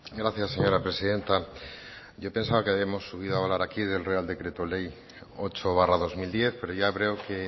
gracias señora presidenta yo pensaba que habíamos subido hablar aquí del real decreto ley ocho barra dos mil diez pero ya veo que